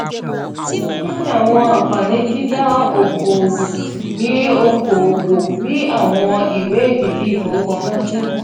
kini awọn anfani dida oko-owo ni oko-owo ni awọn iwe edidi ifowopamosi?